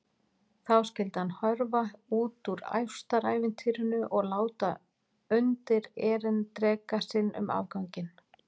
Þá skyldi hann hörfa út úr ástarævintýrinu og láta undir-erindreka sinn um afganginn.